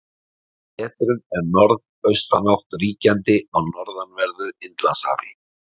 Á vetrum er norðaustanátt ríkjandi á norðanverðu Indlandshafi.